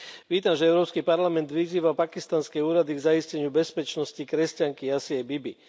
Vítam, že Európsky parlament vyzýva pakistanské úrady k zaisteniu bezpečnosti kresťanky Asie Bibi.